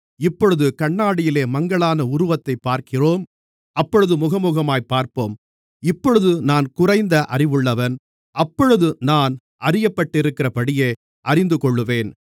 இப்பொழுது கண்ணாடியிலே மங்கலான உருவத்தைப் பார்க்கிறோம் அப்பொழுது முகமுகமாகப் பார்ப்போம் இப்பொழுது நான் குறைந்த அறிவுள்ளவன் அப்பொழுது நான் அறியப்பட்டிருக்கிறபடியே அறிந்துகொள்ளுவேன்